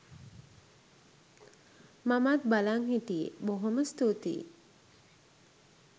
මමත් බලන් හිටියේ බොහෝම ස්තුතියි